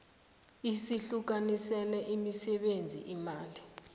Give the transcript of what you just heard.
usihlukanisele imisebenzi imali